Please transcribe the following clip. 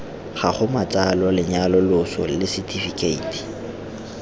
gago matsalo lenyalo loso lesetifikheiti